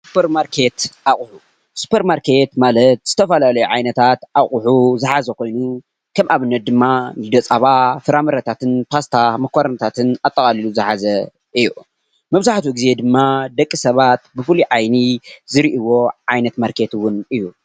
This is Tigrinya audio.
ሱፐርማርኬት ኣቅሑ፦ ሱፐርማርኬት ማለት ዝተፈላለዩ ዓይነታት ኣቅሑ ዝሓዘ ኮይኑ ከም ኣብነት ድማ ፀባ፣ ፍራምረታትን፣ ፓስታ፣ መኮረኒታትን ኣጠቃሊሉ ዝሓዘ እዩ፡፡ መብዛሕትኢ ግዜ ድማ ደቂ ሰባት ብፍሉይ ዓይኒ ዝሪእዎ ዓይነት ማርኬት እውን እዩ፡፡